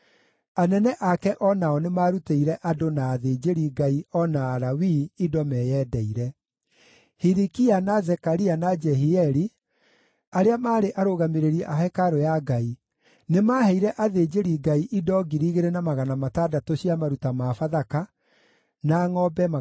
Anene ake o nao nĩmarutĩire andũ, na athĩnjĩri-Ngai, o na Alawii indo meyendeire. Hilikia, na Zekaria, na Jehieli, arĩa maarĩ arũgamĩrĩri a hekarũ ya Ngai, nĩmaheire athĩnjĩri-Ngai indo 2,600 cia maruta ma Bathaka, na ngʼombe 300.